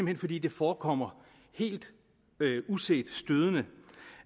hen fordi det forekommer helt uset stødende